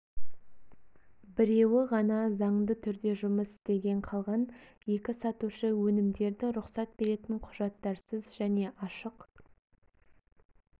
біреуі ғана заңды түрде жұмыс істеген қалған екі сатушы өнімдерді рұқсат беретін құжаттарсыз және ашық